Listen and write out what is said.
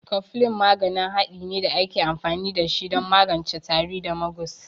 Koflin maganin hade ne da ake amfani da shi don magance tari da magus.